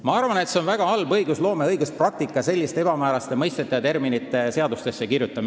Ma arvan, et on väga halb õigusloome ja õiguspraktika selliseid ebamääraseid mõisteid ja termineid seadusesse kirjutada.